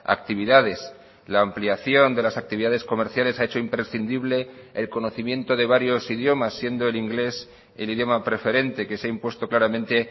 actividades la ampliación de las actividades comerciales ha hecho imprescindible el conocimiento de varios idiomas siendo el inglés el idioma preferente que se ha impuesto claramente